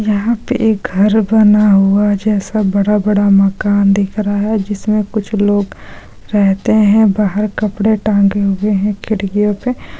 यहां पर घर बना हुआ है जैसा बड़ा-बड़ा मकान दिख रहा है जिसमें कुछ लोग रहते हैं बाहर कपड़े टांगे हुए हैं खिड़कियों पे---